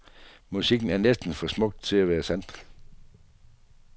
Musikken er næsten for smukt til at være sandt.